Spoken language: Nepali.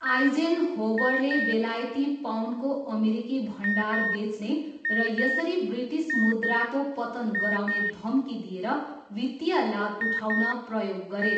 आइजेनहोवरले बेलायती पाउन्डको अमेरिकी भण्डार बेच्ने र यसरी ब्रिटिस मुद्राको पतन गराउने धम्की दिएर वित्तीय लाभ उठाउन प्रयोग गरे।